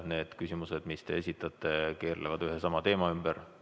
Need küsimused, mis te esitate, keerlevad ühe ja sama teema ümber.